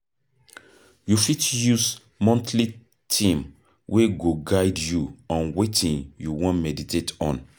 You fit use monthly theme wey go guide you on wetin you wan meditate on